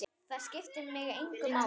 Það skiptir mig engu máli.